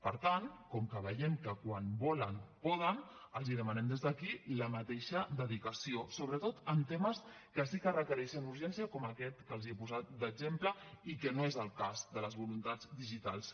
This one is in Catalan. per tant com que veiem que quan volen poden els demanem des d’aquí la mateixa dedicació sobretot en temes que sí que requereixen urgència com aquest que els he posat d’exemple i que no és el cas de les voluntats digitals